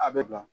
A bɛ bila